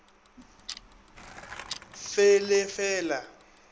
fe le le fe la